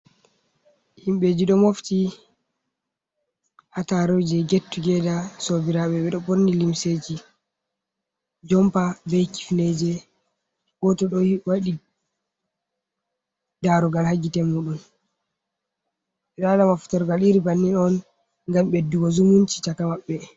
Himɓeji ɗo mofti ha taruje get tugeɗa. Sauɓiraɓe ɓeɗo ɓorni limseji jompa ɓei kifneje. Goto ɗo waɗi ɗarugal ha gite muɗum. Ɓe ɗo waɗa maftorugal iri bannin on, ngam ɓeɗɗugo zumunci caka maɓɓe.